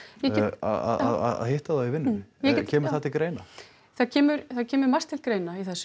að hitta þá í vinnunni kemur það til greina það kemur það kemur margt til greina í þessu